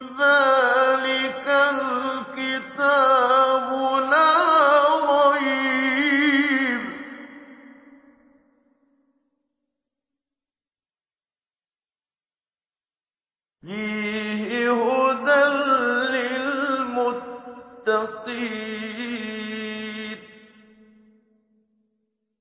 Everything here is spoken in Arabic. ذَٰلِكَ الْكِتَابُ لَا رَيْبَ ۛ فِيهِ ۛ هُدًى لِّلْمُتَّقِينَ